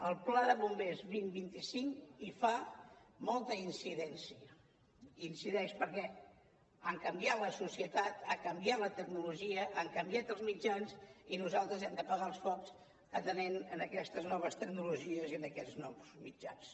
el pla bombers dos mil vint cinc hi fa molta incidència hi incideix perquè ha canviat la societat ha canviat la tecnologia han canviat els mitjans i nosaltres hem d’apagar els focs atenent aquestes noves tecnologies i aquests nous mitjans